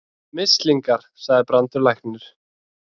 Mislingar, sagði Brandur læknir.